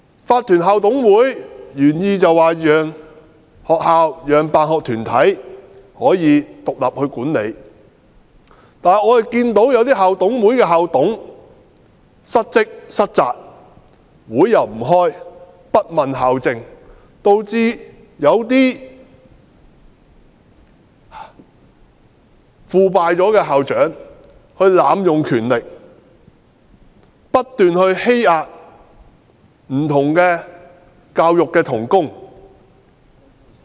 法團校董會的原意是讓學校和辦學團體可以獨立管理學校，但一些校董會的校董失職、失責，不開會，不問校政，導致有些腐敗的校長濫用權力，不斷欺壓不同的教育同工。